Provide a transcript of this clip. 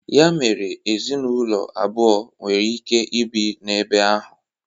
Ya mere ezinụlọ abụọ nwere ike ibi na-ebe ahụ.